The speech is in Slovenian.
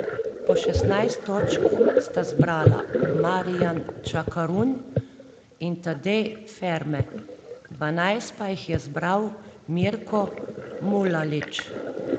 Po šestnajst točk sta zbrala Marijan Čakarun in Tadej Ferme, dvanajst pa jih je zbral Mirko Mulalić.